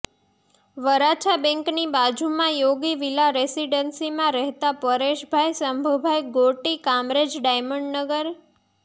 વરાછા બેંકની બાજુમાં યોગી વિલા રેસીડનસીમાં રહેતા પરેશભાઈ શંભુભાઈ ગોટી કામરેજ ડાયમંડનગર